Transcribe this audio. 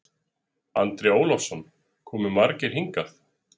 Andri Ólafsson: Komu margir hingað?